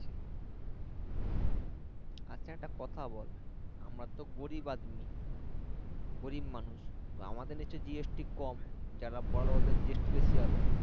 আচ্ছা একটা কথা বল আমরা তো গরিব আদমি গরিব মানুষ আমাদের লাগছে GST কম যারা বড়ো ওদের GST বেশি হবে